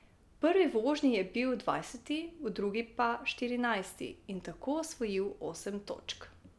V prvi vožnji je bil dvajseti, v drugi pa štirinajsti in tako osvojil osem točk.